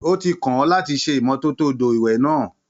Ó ti kàn ọ́ láti ṣe ìmọ́tótó odò ìwẹ̀ náà.